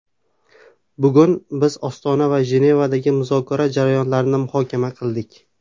Bugun biz Ostona va Jenevadagi muzokara jarayonlarini muhokama qildik.